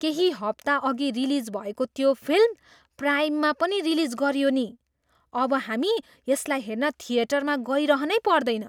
केही हप्ताअघि रिलिज भएको त्यो फिल्म प्राइममा पनि रिलिज गरियो नि! अब हामी यसलाई हेर्न थिएटरमा गइरहनै पर्दैन!